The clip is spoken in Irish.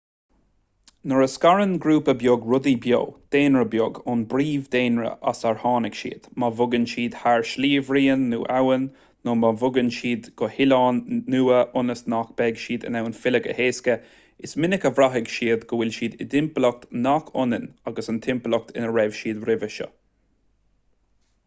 nuair a scarann ​​grúpa beag rudaí beo daonra beag ón bpríomh-dhaonra as ar tháinig siad má bhogann siad thar shliabhraon nó abhainn nó má bhogann siad go hoileán nua ionas nach mbeidh siad in ann filleadh go héasca is minic a bhraithfidh siad go bhfuil siad i dtimpeallacht nach ionann agus an timpeallacht ina raibh siad roimhe seo